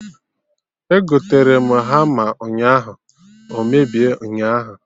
Egotere m hama ụnyaahụ, o mebie ụnyaahụ